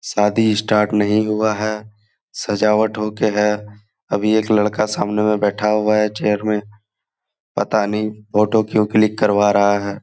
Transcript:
सादी स्टार्ट नहीं हुआ है सजावट हो के हे अभी एक लड़का सामने मे बैठा हुआ है चैर मे पता नहीं फोटो क्यू क्लिक करवा रहा है|